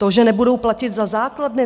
To, že nebudou platit za základny?